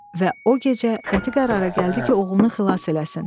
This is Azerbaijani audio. Və o gecə qəti qərara gəldi ki, oğlunu xilas eləsin.